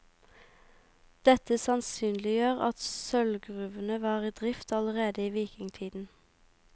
Dette sannsynliggjør at sølvgruvene var i drift allerede i vikingtiden.